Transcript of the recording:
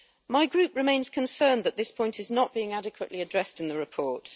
My group remains concerned that this point is not being adequately addressed in the report.